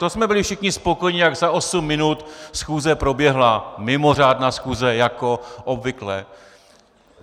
To jsme byli všichni spokojení, jak za osm minut schůze proběhla, mimořádná schůze jako obvykle.